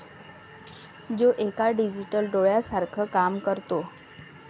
जो एका डिजिटल डोळ्यासारखं काम करतो.